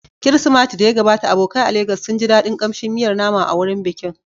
Kirsimati da ya gabata, abokai a Legas sun ji daɗin kamshin miyar nama a wurin bikin.